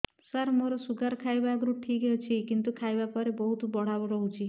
ସାର ମୋର ଶୁଗାର ଖାଇବା ଆଗରୁ ଠିକ ଅଛି କିନ୍ତୁ ଖାଇବା ପରେ ବହୁତ ବଢ଼ା ରହୁଛି